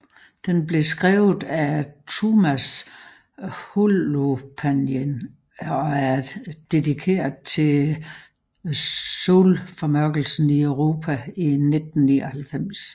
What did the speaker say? Den blev skrevet af Tuomas Holopainen og er dedikeret til solformørkelsen i Europa i 1999